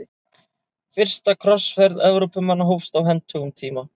Fyrsta krossferð Evrópumanna hófst á hentugum tíma.